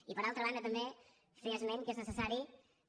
i per altra banda també fer esment que és necessari que